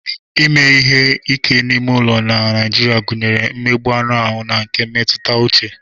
Ime ihe ike n'ime ụlọ na Naịjirịa gụnyere mmegbu anụ ahụ na nke mmetụta uche.